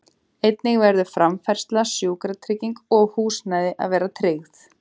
Einnig verður framfærsla, sjúkratrygging og húsnæði að vera tryggð.